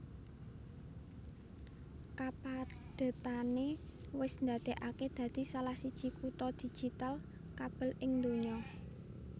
Kapadhetané wis ndadèkaké dadi salah siji kutha digital kabel ing donya